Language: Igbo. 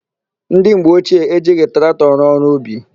Ndị mgbe ochie ejighị traktọ rụọ ọrụ ubi.